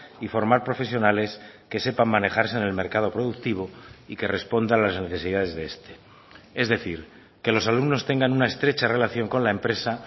y formar profesionales que sepan manejarse en el mercado productivo y que responda a las necesidades de este es decir que los alumnos tengan una estrecha relación con la empresa